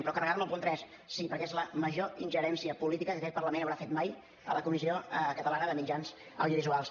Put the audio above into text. però carregar me el punt tres sí perquè és la major ingerència política que aquest parlament haurà fet mai a la corporació catalana de mitjans audiovisuals